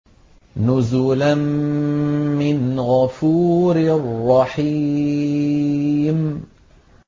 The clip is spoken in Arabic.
نُزُلًا مِّنْ غَفُورٍ رَّحِيمٍ